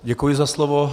Děkuji za slovo.